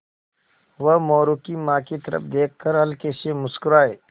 वह मोरू की माँ की तरफ़ देख कर हल्के से मुस्कराये